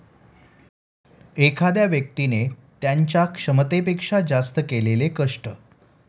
एखाद्या व्यक्तिने त्यांच्या क्षमतेपेक्षा जास्त केलेले कष्ट.